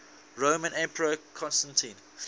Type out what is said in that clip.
roman emperor constantine